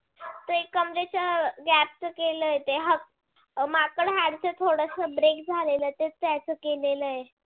ते कमरेच्या gap च त्याच केलाय ते माकड हाड च थोडस break झालाय ते त्याच केलेलय.